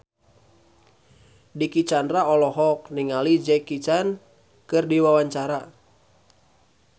Dicky Chandra olohok ningali Jackie Chan keur diwawancara